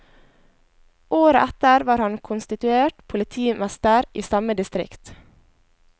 Året etter var han konstituert politimester i samme distrikt.